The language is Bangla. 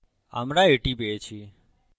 আমরা এটি পেয়েছি